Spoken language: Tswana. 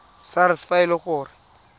sars fa e le gore